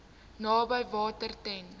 naby water ten